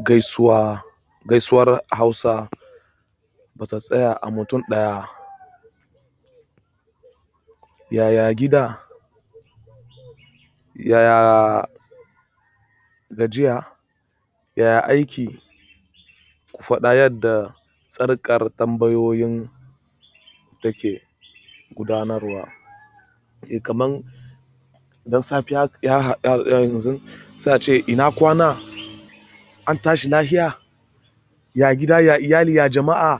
Gaisuwar Hausa ba ta tsaya a mutum ɗaya. Yaya gida, yaya gajiya, yaya aiki. Ku faɗa yadda tsarkar tambayoyin take gudanarwa. Eh kaman dan safiya yanzu sai a ce ina kwana? An tashi lafiya? Ya gida? Ya iyali? Ya jama'a?